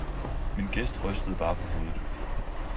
Min gæst rystede bare på hovedet.